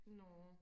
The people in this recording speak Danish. nåa